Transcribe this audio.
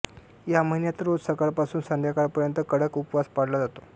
या महिन्यात रोज सकाळपासून संध्याकाळपर्यंत कडक उपवास पाळला जातो